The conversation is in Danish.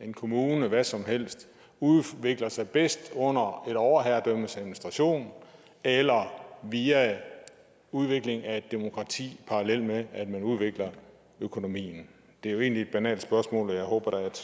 en kommune hvad som helst udvikler sig bedst under et overherredømmes administration eller via udvikling af et demokrati parallelt med at man udvikler økonomien det er jo egentlig et banalt spørgsmål og jeg håber da